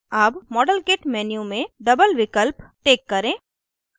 double modelkit menu में double विकल्प tick करें